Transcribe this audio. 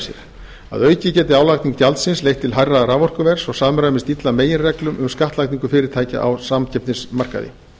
sér að auki geti álagning gjaldsins leitt til hærra raforkuverðs og samræmist illa meginreglum um skattlagningu fyrirtækja á samkeppnismarkaði